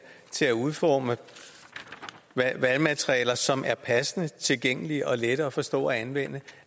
til at udforme valgmaterialer som er passende tilgængelige og lette at forstå og anvende